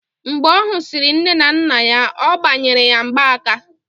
Mgbe ọ husiri nne na nna ya, ọ gbanyere ya mgbaaka